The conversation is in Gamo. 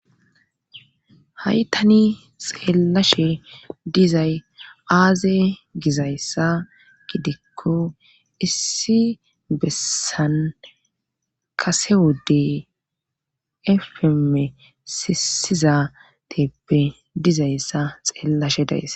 haytani xeeellashe dizay aaze gizayssa gidikko issi bessan kase wodey efeme sisizateeppe dizayssa xeellashe days